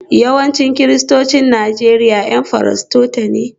Yawancin Kiristocin Najeriya 'Yan Furotesta ne